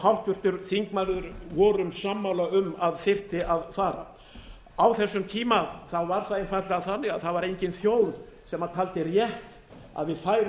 háttvirtur þingmaður vorum sammála um að þyrfti að fara á þessum tíma var það einfaldlega þannig að það var engin þjóð sem taldi rétt að við færum